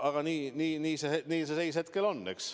Aga nii see seis hetkel on.